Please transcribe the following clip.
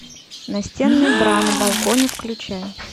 настенные бра на балконе включай